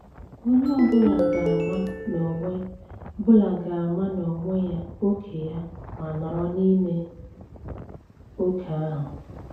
Onye ọ bụla ga-ama n'onwe bụla ga-ama n'onwe ya ókè ya ma nọrọ n'ime oke ahụ.